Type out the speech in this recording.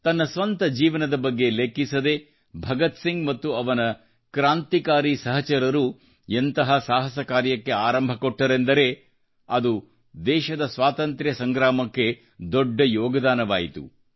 ತನ್ನ ಸ್ವಂತಜೀವನದ ಬಗ್ಗೆ ಲೆಕ್ಕಿಸದೆ ಭಗತ್ಸಿಂಗ್ ಮತ್ತು ಅವರ ಸಹಚರರು ಎಂತಹ ಸಾಹಸ ಕಾರ್ಯಕ್ಕೆ ಆರಂಭ ಕೊಟ್ಟರೆಂದರೆ ಅದು ದೇಶದ ಸ್ವಾತಂತ್ರ್ಯ ಸಂಗ್ರಾಮಕ್ಕೆ ದೊಡ್ಡ ಯೋಗದಾನವಾಯಿತು